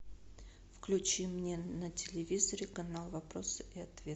включи мне на телевизоре канал вопросы и ответы